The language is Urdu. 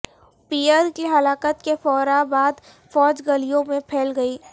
پیئر کی ہلاکت کے فورا بعد فوج گلیوں میں پھیل گئی